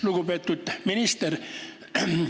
Lugupeetud minister!